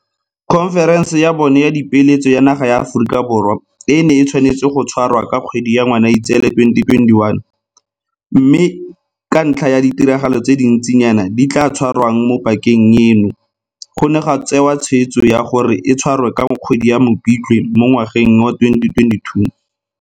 Khonferense ya bone ya Dipeeletso ya naga ya Aforika Borwa e ne e tshwanetse go tshwarwa ka kgwedi ya Ngwanaitseele 2021, mme ka ntlha ya ditiragalo tse dintsinyana tse di tla tshwarwang mo pakeng eno, go ne ga tsewa tshweetso ya gore e tshwarwe ka kgwedi ya Mopitlwe mo ngwageng wa 2022.